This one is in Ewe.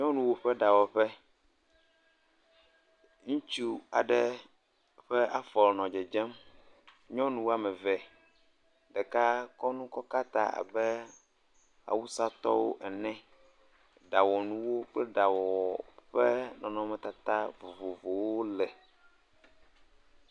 Nyɔnuwoƒe ɖawɔƒe, ŋutsu aɖe ƒe afɔ nɔ dzedzem. Nyɔnu woame eve, ɖeka kɔ nu kɔ bla ta abe awusatɔ ene, ɖawɔnuwo klpe ɖawɔwɔ nɔnɔme tata vovovowo le ………..